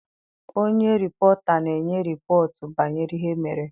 Onye rịpọta na-enye rịpọtụ banyere ihe mere.